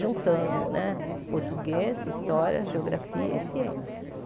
juntando né português, história, geografia e ciências.